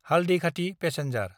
Haldighati passenger